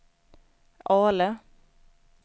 Ale